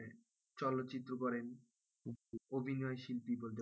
চলচ্চিত্র করেন অভিনয় শিল্পী বলতে পারেন,